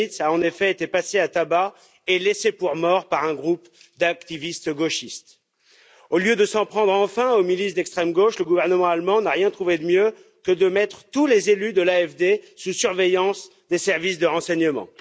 Magnitz a en effet été passé à tabac et laissé pour mort par un groupe d'activistes gauchistes. Au lieu de s'en prendre enfin aux milices d'extrême gauche, le gouvernement allemand n'a rien trouvé de mieux que de mettre tous les élus de l'AFD sous surveillance des services de renseignement.